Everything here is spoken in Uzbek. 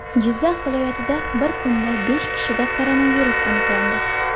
Jizzax viloyatida bir kunda besh kishida koronavirus aniqlandi.